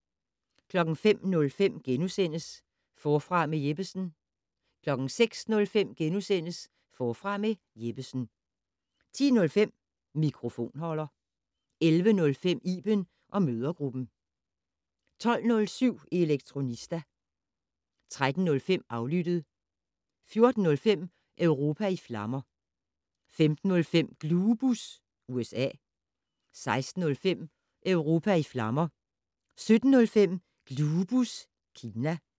05:05: Forfra med Jeppesen * 06:05: Forfra med Jeppesen * 10:05: Mikrofonholder 11:05: Iben & mødregruppen 12:07: Elektronista 13:05: Aflyttet 14:05: Europa i flammer 15:05: Glubus USA 16:05: Europa i flammer 17:05: Glubus Kina